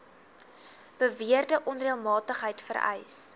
beweerde onreëlmatigheid vereis